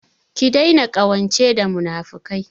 Ki daina ƙawance da munafukai!